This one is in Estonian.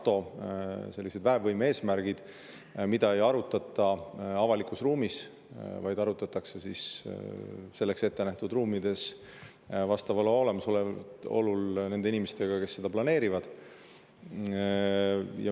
Teiseks tulevad ka NATO väevõime eesmärgid, mida ei arutata avalikus ruumis, vaid arutatakse selleks ettenähtud ruumides vastava loa olemasolul nende inimestega, kes seda planeerivad.